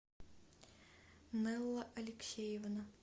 нэлла алексеевна